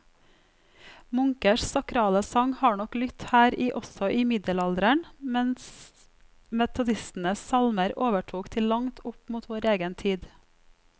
Munkers sakrale sang har nok lydt her i også i middelalderen, mens metodistenes salmer overtok til langt opp mot vår egen tid.